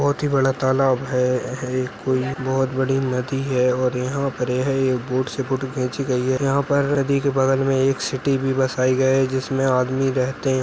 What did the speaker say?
बहोत ही बड़ा तालाब है है कोई बहोत बड़ी नदी है और यहाँ पर यह एक बोट से फोटो खींची गई है यहाँ पर नदी के बगल में एक सिटी भी बसाए गये है जिसमे आदमी रहते --